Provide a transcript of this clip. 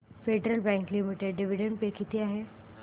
federal Bank Limited dividend pay किती आहे